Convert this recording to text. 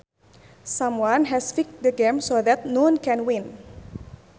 Someone has fixed the game so that noone can win